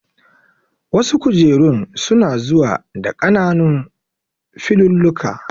Wasu kujerun su na zuwa da ƙananun filulluka